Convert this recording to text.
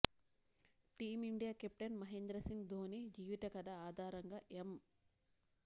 team India captain Mahendra Singh Dhoni జీవిత కథ ఆధారంగా ఎం